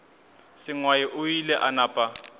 sengwai o ile a napa